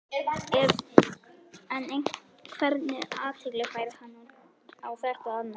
En hvernig athygli fær hann út á þetta annars?